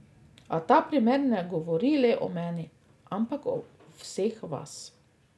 A ta primer ne govori le o meni, ampak o vseh vas.